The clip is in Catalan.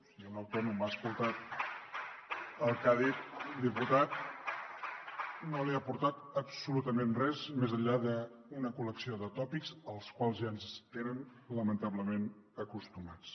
si un autònom ha escoltat el que ha dit el diputat no li ha aportat absolutament res més enllà d’una col·lecció de tòpics als quals ja ens tenen lamentablement acostumats